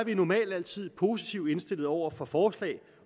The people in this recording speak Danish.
vi normalt altid positivt indstillet over for forslag